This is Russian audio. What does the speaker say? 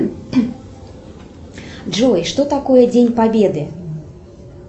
джой что такое день победы